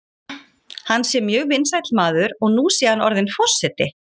Hann sé mjög vinsæll maður og nú sé hann orðinn forseti.